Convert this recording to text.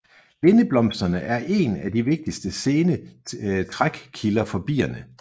Lindeblomsterne er én af de vigtigste sene trækkilder for bierne